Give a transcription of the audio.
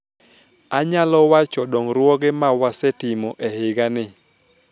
anyalo wacho dongruoge ma wasetimo e higa ni